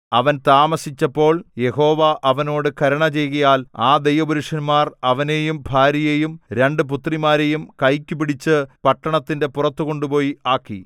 അവൻ താമസിച്ചപ്പോൾ യഹോവ അവനോട് കരുണ ചെയ്യുകയാൽ ആ ദൈവ പുരുഷന്മാർ അവനെയും ഭാര്യയെയും രണ്ട് പുത്രിമാരെയും കൈക്കു പിടിച്ചു പട്ടണത്തിന്റെ പുറത്തു കൊണ്ടുപോയി ആക്കി